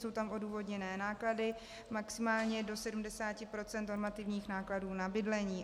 Jsou tam odůvodněné náklady maximálně do 70 % normativních nákladů na bydlení.